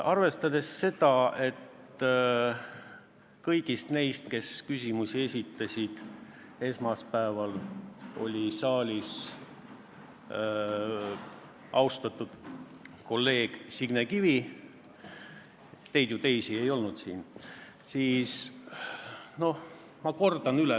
Arvestades seda, et kõigist neist, kes küsimusi esitasid, oli esmaspäeval saalis ainult austatud kolleeg Signe Kivi – teid, teisi, ju ei olnud siin –, ma kordan mõned asjad üle.